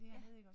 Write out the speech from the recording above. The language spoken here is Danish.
Ja